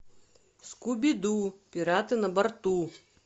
скуби ду пираты на борту